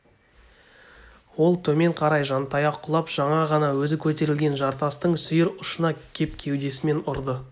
ол төмен қарай жантая құлап жаңа ғана өзі көтерілген жартастың сүйір ұшына кеп кеудесімен ұрды